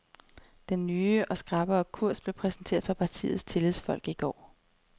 Den nye og skrappere kurs blev præsenteret for partiets tillidsfolk i går.